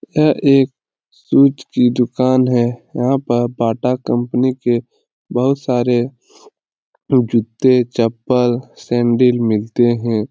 यह एक शूज़ की दुकान है यहाँ पर बाटा कम्पनी के बहुत सारे जूते चप्पल सेंडिल मिलते हैं ।